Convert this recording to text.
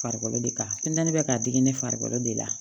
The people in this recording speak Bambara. Farikolo de ka funtɛni bɛ k'a digi di ne farikolo de la